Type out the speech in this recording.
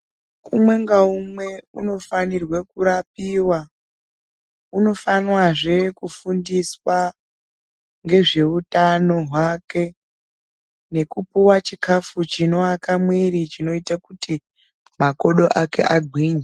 Umwe ngaumwe unofanirwe kurapiwa, unofanwazve kufundiswa ngezveutano hwake nekupuwa chikhafu chinoaka mwiri chinoite kuti makodo ake agwinye.